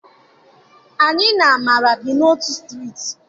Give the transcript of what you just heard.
Anyị na Amara bi n'otu Striiti.